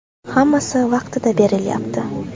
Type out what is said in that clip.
Hammasi vaqtida berilyapti.